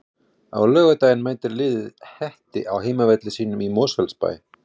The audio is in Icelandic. Á laugardaginn mætir liðið Hetti á heimavelli sínum í Mosfellsbæ.